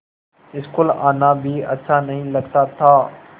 school आना भी अच्छा नहीं लगता था